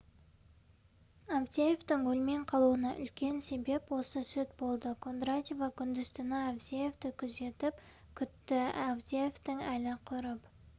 авдеевтің өлмей қалуына үлкен себеп осы сүт болды кондратьева күндіз-түні авдеевті күзетіп күтті авдеевтің әлі құрып